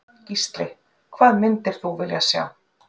Gísli: Hvað myndir þú vilja sjá?